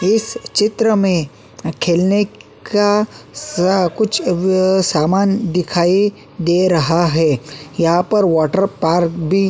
इस चित्र में खेलने का स कुछ व-व सामान दिखाई दे रहा है यहां पर वॉटर पार्क भी --